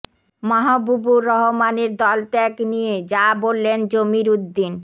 মাহবুবুর রহমানের দল ত্যাগ নিয়ে যা বললেন জমির উদ্দিন